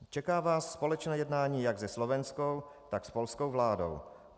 Čeká vás společné jednání jak se slovenskou, tak s polskou vládou.